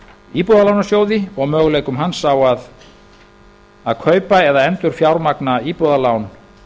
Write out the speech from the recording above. íbúðalánasjóði og möguleikum hans á að kaupa eða endurfjármagna íbúðalán